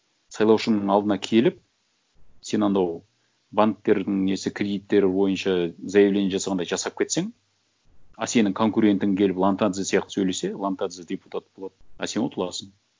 сайлаушының алдына келіп сен анау банктердің несі кредиттері бойынша заявление жасағандай жасап кетсең а сенің конкурентің келіп ломтадзе сияқты сөйлесе ломтадзе депутат болады а сен ұтыласың